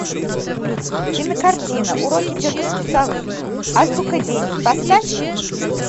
кинокартина уроки тетушки совы азбука денег поставь